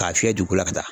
K'a fiyɛ dugu la ka taa